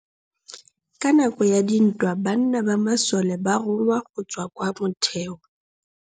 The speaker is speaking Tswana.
Ka nakô ya dintwa banna ba masole ba rongwa go tswa kwa mothêô.